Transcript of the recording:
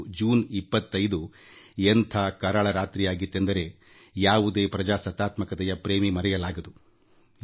1975 June 25 ಎಂಥ ಕರಾಳ ರಾತ್ರಿಯಾಗಿತ್ತೆಂದರೆ ಯಾವುದೇ ಪ್ರಜಾಪ್ರಭುತ್ವದ ಪ್ರೇಮಿಯೂ ಇದನ್ನು ಮರೆಯಲು ಸಾಧ್ಯವಿಲ್ಲ